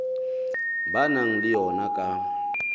ba nang le yona ka